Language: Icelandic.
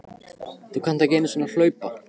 Þú kannt ekki einu sinni að hlaupa